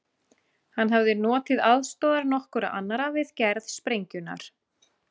Hann hafði notið aðstoðar nokkurra annarra við gerð sprengjunnar.